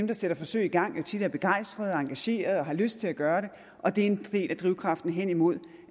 der sætter forsøg i gang tit er begejstrede engagerede og har lyst til at gøre det og det er en del af drivkraften hen imod